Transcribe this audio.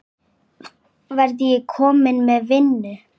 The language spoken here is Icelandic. Verð ég kominn með vinnu?